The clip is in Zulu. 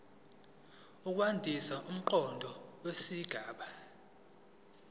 ukwandisa umqondo wesigaba